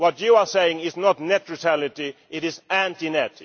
up. What you are saying is not net neutrality, it is anti